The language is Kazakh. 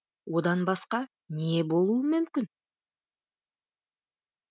одан басқа не болуы мүмкін